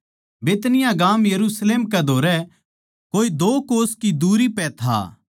बैतनिय्याह गाम यरुशलेम कै धोरै कोए दो कोस की दुरी पै था